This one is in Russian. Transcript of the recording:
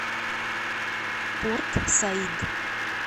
порт саид